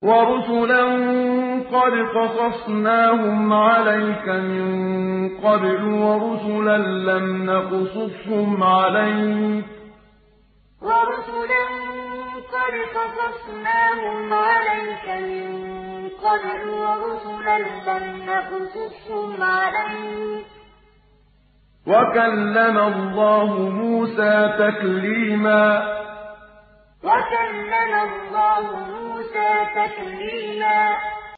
وَرُسُلًا قَدْ قَصَصْنَاهُمْ عَلَيْكَ مِن قَبْلُ وَرُسُلًا لَّمْ نَقْصُصْهُمْ عَلَيْكَ ۚ وَكَلَّمَ اللَّهُ مُوسَىٰ تَكْلِيمًا وَرُسُلًا قَدْ قَصَصْنَاهُمْ عَلَيْكَ مِن قَبْلُ وَرُسُلًا لَّمْ نَقْصُصْهُمْ عَلَيْكَ ۚ وَكَلَّمَ اللَّهُ مُوسَىٰ تَكْلِيمًا